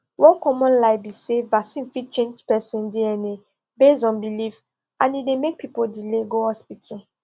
one common lie be say vaccine fit change person dna based on belief and e dey make people delay go hospital